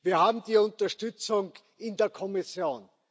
Wir haben die Unterstützung in der Kommission.